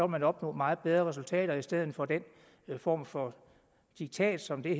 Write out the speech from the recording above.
man opnå meget bedre resultater i stedet for den form for diktat som det